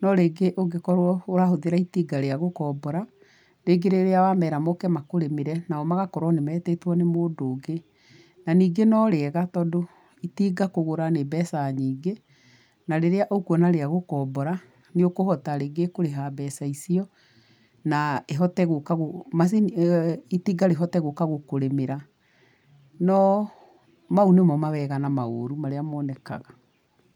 No rĩngĩ ũngĩkorwo ũrahũthĩra itinga rĩa gũkombora, rĩngĩ rĩrĩa wamera makũrĩmĩre, nao magakorwoo nĩ metĩtwo nĩ mũndũ ũngĩ, na ningĩ no rĩega tondũ itinga kũgũra nĩ mbeca nyingĩ, na rĩrĩa ũkuona rĩa gũkombora, nĩ ũkũhota rĩngĩ kũrĩha mbeca icio, na ĩhote gũka gũ macini ĩyo itinga rĩhote gũka gũkũrĩmĩra no, mau nĩmo mawega na maũrũ marĩa monekaga.